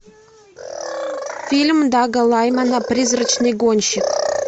фильм дага лаймана призрачный гонщик